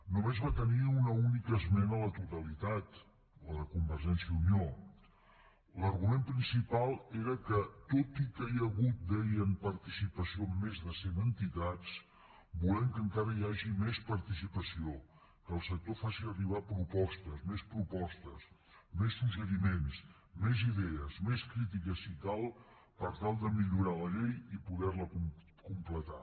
només va tenir una única esmena a la totalitat la de convergència i unió l’argument principal era que tot i que hi ha hagut deien participació amb més de cent entitats volem que encara hi hagi més participació que el sector faci arribar propostes més propostes més suggeriments més idees més crítica si cal per tal de millorar la llei i poder la completar